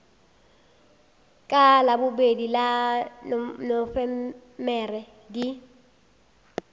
ka labobedi la nofemere di